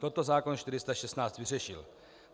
Toto zákon 416 vyřešil.